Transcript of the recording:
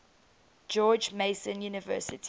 george mason university